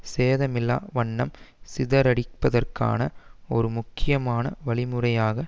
சேதமில்லா வண்ணம் சிதறடிப்பதற்கான ஒரு முக்கியமான வழிமுறையாக